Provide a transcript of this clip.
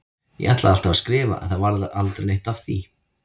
Ég ætlaði alltaf að skrifa en það varð aldrei neitt af því.